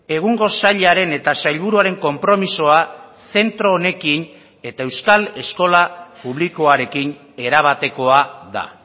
egungo sailaren eta sailburuaren konpromisoa zentro honekin eta euskal eskola publikoarekin erabatekoa da